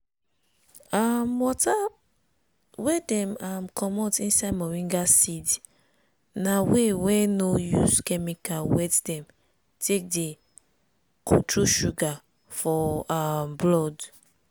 um water wey dem um comot inside moringa seed na way wey no use chemical wet dem take dey control sugar for um blood.